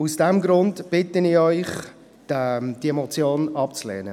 Aus diesem Grund bitte ich Sie, diese Motion abzulehnen.